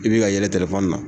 I bi ka yɛlɛ telefɔni na